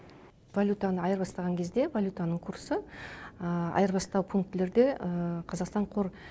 валютаны айырбастаған кезде валютаның курсы айырбастау пунктілерде қазақстан қор